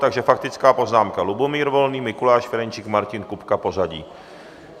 Takže faktická poznámka Lubomír Volný, Mikuláš Ferjenčík, Martin Kupka, pořadí.